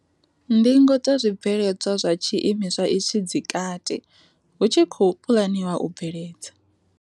Ndingo dza zwi bveledzwa zwa tshi imiswa itshi dzi kati, hu tshi khou puḽaniwa u bveledza.